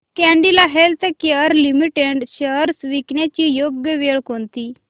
Cadila healthcare limited shares विकण्याची योग्य वेळ कोणती